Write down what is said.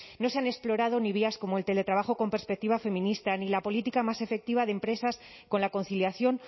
no se han explorado ni vías como el teletrabajo con perspectiva feminista ni la política más efectiva de empresas con la conciliación